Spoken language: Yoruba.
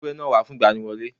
Mú ewúrẹ́ náà wá fún ìgbaniwọlé